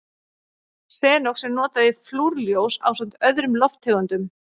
Xenon er notað í flúrljós ásamt öðrum lofttegundum.